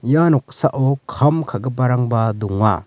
ia noksao kam ka·giparangba donga.